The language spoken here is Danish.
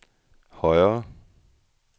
højere